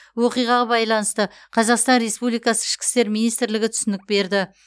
оқиғаға байланысты қазақстан республикасы ішкі істер министрлігі түсінік берді